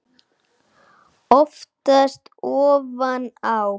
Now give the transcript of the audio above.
Oftast ofan á.